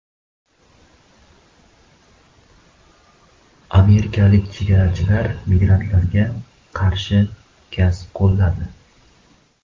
Amerikalik chegarachilar migrantlarga qarshi gaz qo‘lladi.